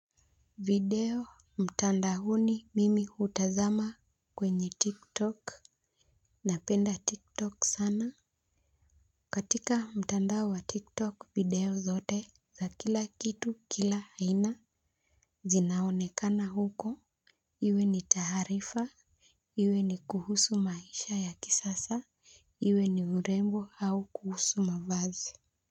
Video mtandaoni mimi hutazama kwenye tik tok. Napenda tik tok sana. Katika mtandao wa tik tok video zote za kila kitu kila aina zinaonekana huko iwe ni taarifa iwe ni kuhusu maisha ya kisasa iwe ni urembo au kuhusu mavazi.